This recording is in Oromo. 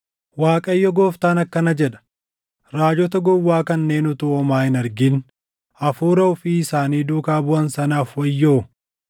Waaqayyo Gooftaan akkana jedha: Raajota gowwaa kanneen utuu homaa hin argin hafuura ofii isaanii duukaa buʼan sanaaf wayyoo!